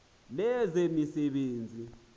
lezemisebenzi